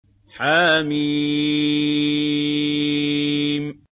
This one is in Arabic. حم